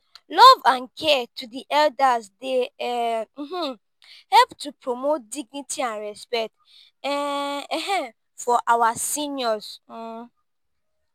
love and care to di elders dey um help to promote dignity and respect um for our seniors.